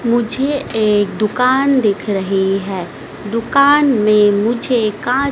मुझे एक दुकान दिख रही है दुकान में मुझे का--